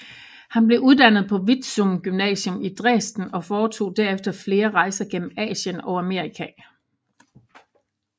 Han blev uddannet på Vitzthum Gymnasium i Dresden og foretog derefter flere rejser gennem Asien og Amerika